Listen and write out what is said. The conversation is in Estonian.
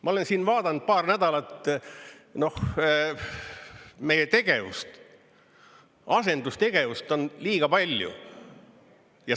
Ma olen siin vaadanud paar nädalat, noh, meie tegevust, asendustegevust on liiga palju.